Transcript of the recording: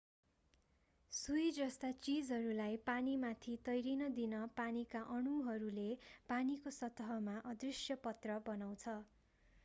सुई जस्ता चीजहरूलाई पानीमाथि तैरिन दिन पानीका अणुहरूले पानीको सतहमा अदृश्य पत्र बनाउँछ